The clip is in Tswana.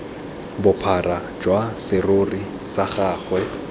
bophara jwa serori sa gagwe